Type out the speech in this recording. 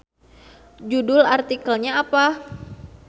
Judul artikelnya apa.